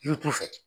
Yiri turu fɛ